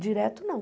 Direto, não.